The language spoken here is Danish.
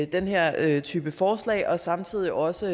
den her type forslag og samtidig også